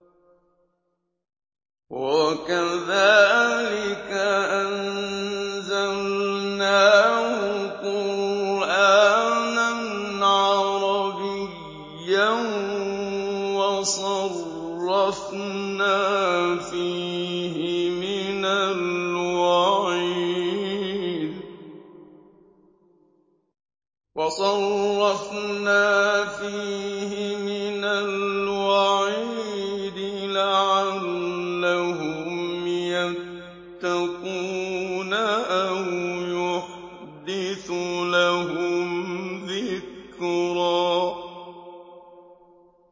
وَكَذَٰلِكَ أَنزَلْنَاهُ قُرْآنًا عَرَبِيًّا وَصَرَّفْنَا فِيهِ مِنَ الْوَعِيدِ لَعَلَّهُمْ يَتَّقُونَ أَوْ يُحْدِثُ لَهُمْ ذِكْرًا